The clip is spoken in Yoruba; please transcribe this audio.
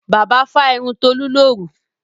Bàbá fá irun Tolú lóru.